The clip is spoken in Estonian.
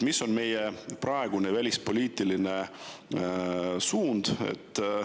Mis on meie praegune välispoliitiline suund?